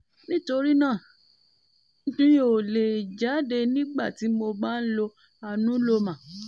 nítorí náà mi um ò lè jáde nígbà tí mo bá ń lo cs] anuloma